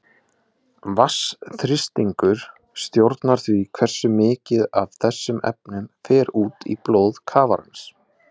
Vatnsþrýstingur stjórnar því hversu mikið af þessum efnum fer út í blóð kafarans.